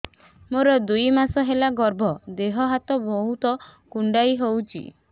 ମୋର ଦୁଇ ମାସ ହେଲା ଗର୍ଭ ଦେହ ହାତ ବହୁତ କୁଣ୍ଡାଇ ହଉଚି